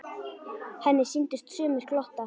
Henni sýndust sumir glotta.